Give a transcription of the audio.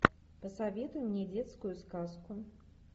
посоветуй мне детскую сказку